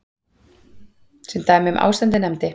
Sem dæmi um ástandið nefndi